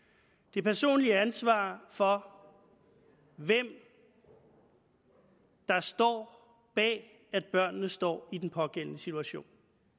det personlige ansvar for hvem der står bag at børnene står i den pågældende situation